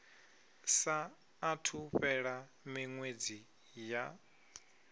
saathu u fhela miṅwedzi ya